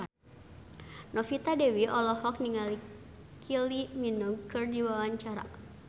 Novita Dewi olohok ningali Kylie Minogue keur diwawancara